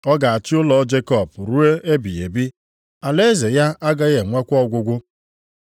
Ọ ga-achị ụlọ Jekọb ruo ebighị ebi, alaeze ya agaghị enwekwa ọgwụgwụ.”